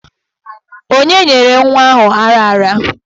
Onye nyere nwa ahụ ara ara?